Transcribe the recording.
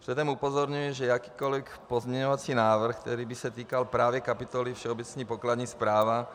Předem upozorňuji, že jakýkoli pozměňovací návrh, který by se týkal právě kapitoly Všeobecná pokladní správa,